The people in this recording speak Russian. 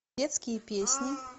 детские песни